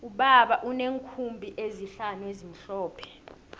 ubaba uneenkhumbi ezihlanu ezimhlophe